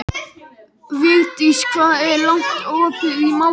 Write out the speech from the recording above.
Vigdís, hvað er lengi opið í Málinu?